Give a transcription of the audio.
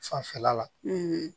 Fanfɛla la